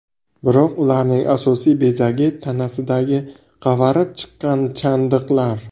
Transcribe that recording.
Biroq ularning asosiy bezagi tanasidagi qavarib chiqqan chandiqlar.